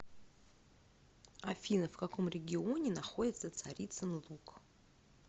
афина в каком регионе находится царицын луг